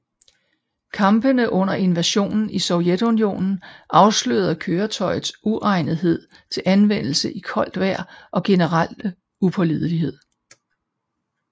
Kampene under invasionen af Sovjetunionen afslørede køretøjets uegnethed til anvendelse i koldt vejr og generelle upålidelighed